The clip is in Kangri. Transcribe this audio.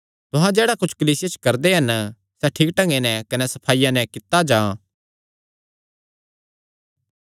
तुहां जेह्ड़ा कुच्छ कलीसिया च करदे हन सैह़ ठीक ढंगे नैं कने सफाईया नैं कित्ता जां